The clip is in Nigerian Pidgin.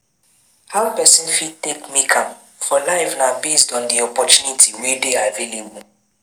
How person fit take make am for life na based on di opportunity wey dey available